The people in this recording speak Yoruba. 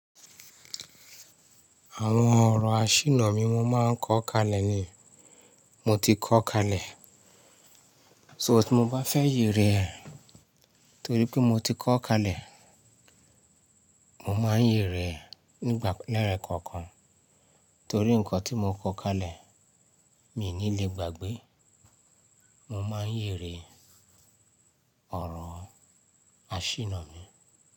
Àwọn ọ̀rọ̀ àṣìnnà mi wọ́n máa ń kọ́ kalẹ̀ ni. Mo ti kọ́ kalẹ̀. So tí mo bá fẹ́ yè rẹ̀ torí pé mo ti kọ́ kalẹ̀, mo máa ń yè rẹ̀ nígbà lẹ́rẹ̀ kọ̀ọ̀kan. Torí ǹkan tí mo kọ́ kalẹ̀, mi ò ní le gbàgbé. Mo máa ń yè rẹ̀ ọ̀rọ̀ àṣìnnà mi.